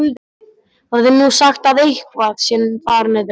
Það er nú sagt að eitthvað sé þar niðri.